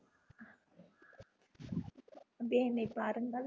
அப்படியே என்னை பாருங்கள்